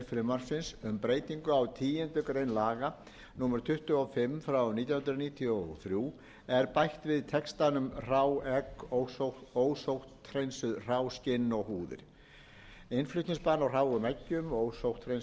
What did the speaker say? frumvarpsins um breytingu á tíundu grein laga númer tuttugu og fimm nítján hundruð níutíu og þrjú er bætt við textanum hrá egg ósótthreinsuð hrá skinn og húðir innflutningsbann á hráum eggjum ósótthreinsuðum hráum skinnum